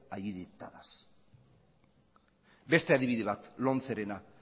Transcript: allí dictadas beste adibide bat lomcerena